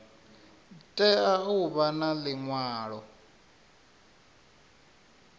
tea u vha na liṅwalo